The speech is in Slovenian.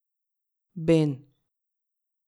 Ben.